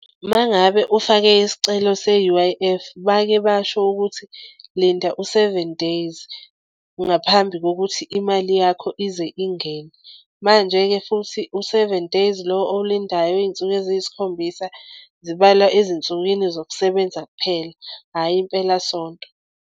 Uma ngabe ufake isicelo se-U_I_F bake basho ukuthi linda u-seven days ngaphambi kokuthi imali yakho ize ingene. Manje-ke futhi u-seven days lo owulindayo iy'nsuku eziyisikhombisa zibala ezinsukwini zokusebenza kuphela, hhayi impelasonto.